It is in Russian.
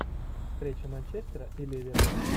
встреча манчестера и ливера